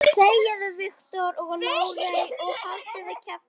Ég get ekki mikið sagt.